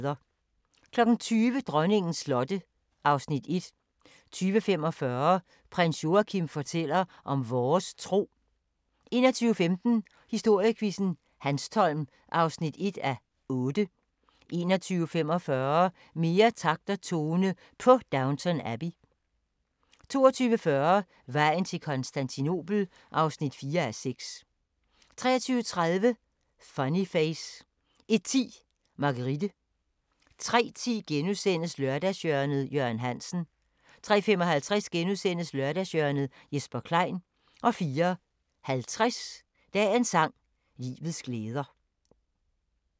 20:00: Dronningens slotte (Afs. 1) 20:45: Prins Joachim fortæller om vores tro 21:15: Historiequizzen: Hanstholm (1:8) 21:45: Mere takt og tone på Downton Abbey 22:40: Vejen til Konstantinopel (4:6) 23:30: Funny Face 01:10: Marguerite 03:10: Lørdagshjørnet – Jørgen Hansen * 03:55: Lørdagshjørnet - Jesper Klein * 04:50: Dagens sang: Livets glæder